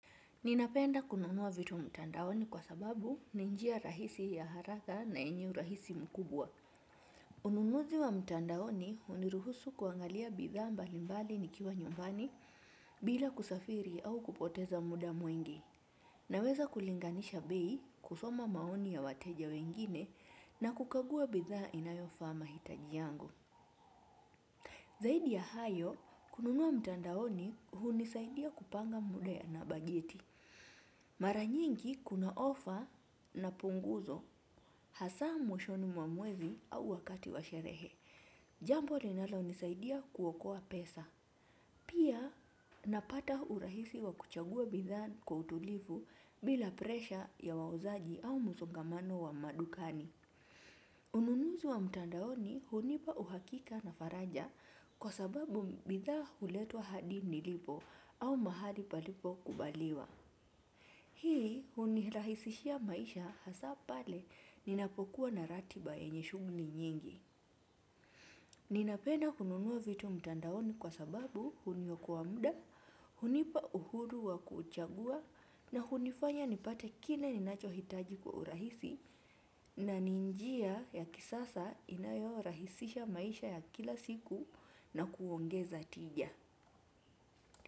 Nina penda kununua vitu mtandaoni kwa sababu ni njia rahisi ya haraka na yenye rahisi mkubwa. Ununuzi wa mtandaoni uniruhusu kuangalia bidhaa mbalimbali nikiwa nyumbani bila kusafiri au kupoteza muda mwingi. Naweza kulinganisha bei kusoma maoni ya wateja wengine na kukagua bidhaa inayo faaa hitajiangu. Zaidi ya hayo, kununua mtandaoni hunisaidia kupanga muda na bajeti. Mara nyingi kuna ofa na punguzo hasa mwishoni mwa mwezi au wakati wa sherehe. Jambo linalo nisaidia kuokoa pesa. Pia napata urahisi wa kuchagua bidhaa kwa utulivu bila presha ya wawazaji au msongamano wa madukani. Ununuzi wa mtandaoni hunipa uhakika na faraja kwa sababu bidhaa huletwa hadi nilipo au mahali palipo kubaliwa. Hii huni rahisishia maisha hasa pale ninapo kuwa na ratiba yenye shughuli nyingi. Ninapenda kununua vitu mtandaoni kwa sababu huniokoa muda, hunipa uhuru wa kuchagua na hunifanya nipate kine ninacho hitaji kwa urahisi na ni njia ya kisasa inayo rahisisha maisha ya kila siku na kuongeza tija.